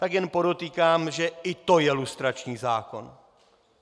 Tak jen podotýkám, že i to je lustrační zákon.